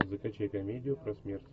закачай комедию про смерть